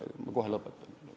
Ma kohe lõpetan.